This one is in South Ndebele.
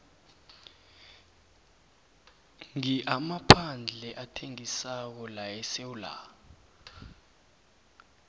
ngi amaphandle athengisako laesewula